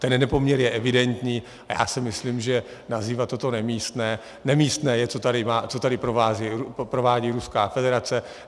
Ten nepoměr je evidentní a já si myslím, že nazývat toto nemístné - nemístné je, co tady provádí Ruská federace.